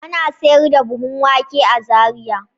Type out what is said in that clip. Ana sayar da buhun wake a Zariya.